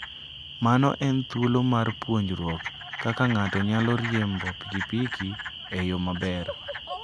Mano en thuolo mar puonjruok kaka ng'ato nyalo riembo pikipiki e yo maber.